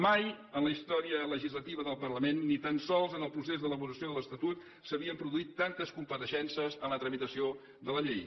mai en la història legislativa del parlament ni tan sols en el procés d’elaboració de l’estatut s’havien produït tantes compareixences en la tramitació de la llei